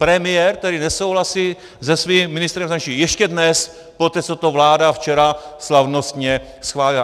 Premiér, který nesouhlasí se svým ministrem zahraničí ještě dnes, poté co to vláda včera slavnostně schválila.